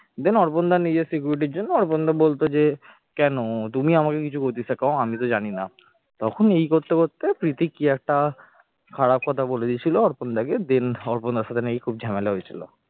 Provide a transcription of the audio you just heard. দেন অর্পণ দা নিজের security র জন্য অর্পণ দা বলতো যে কেন তুমি আমাকে কিছু গোচি শেখাও আমিতো জানি না তখন এই করতে করতে প্রীতি কি একটা খারাপ কথা বলে দিয়েছিল অর্পণ দা কে then অর্পণদার সঙ্গে খুব ঝামেলা হয়েছিল